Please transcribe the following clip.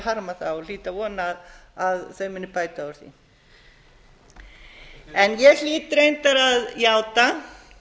harma það og hlýt að vona að þau muni bæta úr því ég hlýt reyndar að játa